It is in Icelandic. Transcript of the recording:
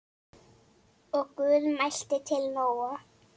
Og Guð mælti til Nóa